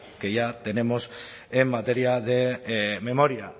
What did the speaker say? que ya tenemos en materia de memoria